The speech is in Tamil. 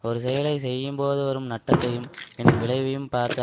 ஒரு செயலை செய்யும்போது வரும் நட்டத்தையும் பின் விளைவையும் பார்த்து